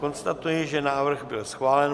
Konstatuji, že návrh byl schválen.